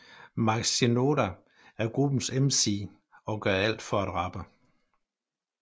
Mike Shinoda er gruppens MC og gør alt for at rappe